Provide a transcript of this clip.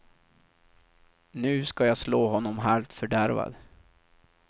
Nu ska jag slå honom halvt fördärvad.